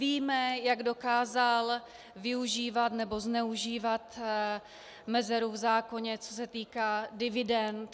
Víme, jak dokázal využívat nebo zneužívat mezeru v zákoně, co se týká dividend.